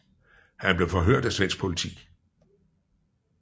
Han blev forhørt af svensk politi